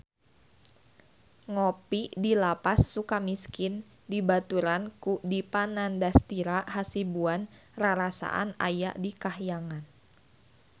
Ngopi di Lapas Sukamiskin dibaturan ku Dipa Nandastyra Hasibuan rarasaan aya di kahyangan